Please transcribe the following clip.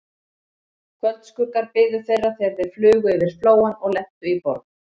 Kvöldskuggar biðu þeirra, þegar þeir flugu yfir Flóann og lentu í Borg